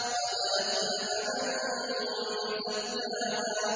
قَدْ أَفْلَحَ مَن زَكَّاهَا